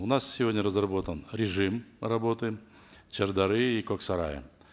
у нас сегодня разработан режим работы шардары и коксарая